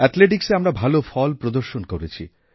অ্যাথলেটিক্সে এবার আমরা ভাল ফল প্রদর্শন করেছি